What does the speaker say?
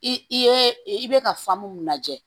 I ye i bɛ ka mun lajɛ